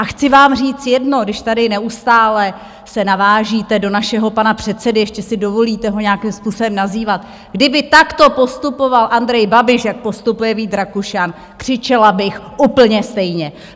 A chci vám říct jedno, když tady neustále se navážíte do našeho pana předsedy, ještě si dovolíte ho nějakým způsobem nazývat: kdyby takto postupoval Andrej Babiš jak postupuje Vít Rakušan, křičela bych úplně stejně!